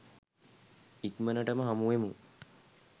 ඉක්මනටම හමුවෙමු